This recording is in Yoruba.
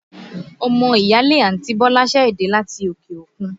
Ọmọ ìyáálé àǹti Bọ́lá ṣẹ̀ dé láti òkè òkun